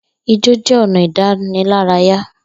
Ijó jẹ́ ọ̀nà ìdánilárayá